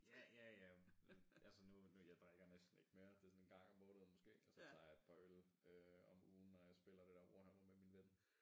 Ja ja ja men altså nu jeg drikker næsten ikke mere det sådan en gang om måneden måske og så tager jeg et par øl øh om ugen når jeg spiller det der Warhammer med min ven